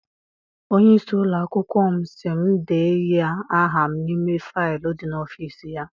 Onye isi ụlọakwụkwọ m sị m de nye aha m n'ime faịlu dị n'ọfịịsi ya.